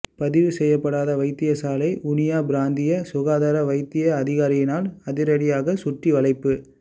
பதிவு செய்யப்படாத வைத்தியசாலை வுனியா பிராந்திய சுகாதார வைத்திய அதிகாரியினால் அதிரடியாக சுற்றிவளைப்பு